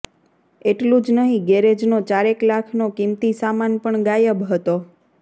એટલુ જ નહીં ગેરેજનો ચારેક લાખનો કિંમતી સામાન પણ ગાયબ હતો